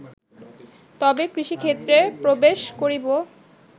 তবে কৃষিক্ষেত্রে প্রবেশ করিব